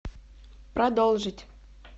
продолжить